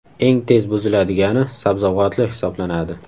Eng tez buziladigani sabzavotli hisoblanadi.